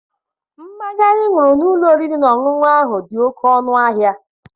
Mmanya anyị ṅụrụ n'ụlọ oriri na ọṅụṅụ ahụ dị oke ọnụ ahịa.